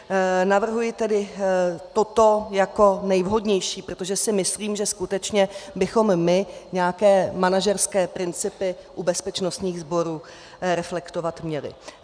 navrhuji tedy toto jako nejvhodnější, protože si myslím, že skutečně bychom my nějaké manažerské principy u bezpečnostních sborů reflektovat měli.